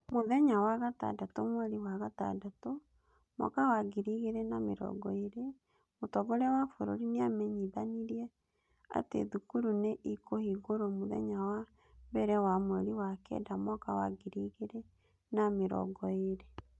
Mũthenya wa gatandatũ mweri wa gatandatũ, mwaka wa ngiri igĩrĩ na mĩrongo ĩĩrĩ, Mũtongoria wa bũrũri nĩamenyithanirie atĩ thukuru nĩ ikũhingũrwo Mũthenya wa mbere wa mweri wa kenda mwaka wa ngiri igĩrĩ na mĩrongo ĩĩrĩ.